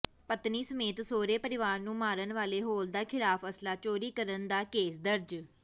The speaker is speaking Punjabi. ਪਤਨੀ ਸਮੇਤ ਸਹੁਰੇ ਪਰਿਵਾਰ ਨੂੰ ਮਾਰਨ ਵਾਲੇ ਹੌਲਦਾਰ ਖ਼ਿਲਾਫ਼ ਅਸਲਾ ਚੋਰੀ ਕਰਨ ਦਾ ਕੇਸ ਦਰਜ